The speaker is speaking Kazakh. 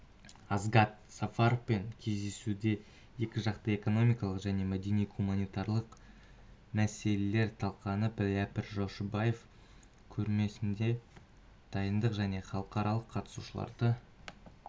асгат сафаровпен кездесуде екіжақты экономикалық және мәдени-гуманитарлық мәселелер талқыланды рәпіл жошыбаев көрмесіне дайындық және халықаралық қатысушыларды